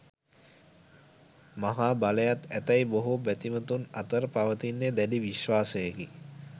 මහා බලයත් ඇතැයි බොහෝ බැතිමතුන් අතර පවතින්නේ දැඩි විශ්වාසයකි.